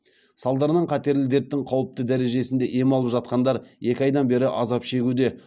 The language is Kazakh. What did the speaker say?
салдарынан қатерлі дерттің қауіпті дережесінде ем алып жатқандар екі айдан бері азап шегуде